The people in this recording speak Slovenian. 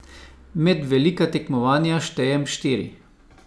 Med velika tekmovanja štejem štiri.